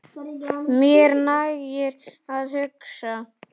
Mér nægir að hugsa.